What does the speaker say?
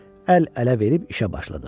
Əl-ələ verib işə başladıq.